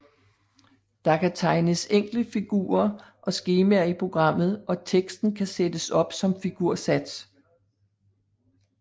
Der kan tegnes enkle figurer og skemaer i programmet og teksten kan sættes op som figursats